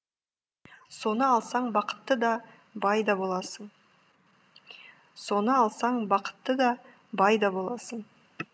соны алсаң бақытты да бай да боласың соны алсаң бақытты да бай да боласың